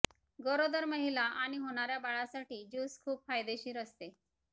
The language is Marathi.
गरोदर महिला आणि होणाऱ्या बाळासाठी ज्यूस खुप फायदेशीर असते